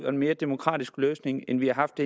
og mere demokratisk løsning end vi har haft